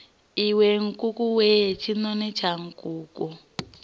iwe nkukuwe tshinoni tsha nkuku